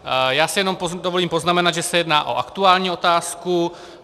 Já si jenom dovolím poznamenat, že se jedná o aktuální otázku.